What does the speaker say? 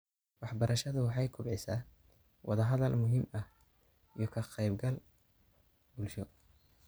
Waxbarashadu waxay kobcisaa wada-hadal muhiim ah iyo ka-qaybgal bulsho.